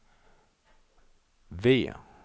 V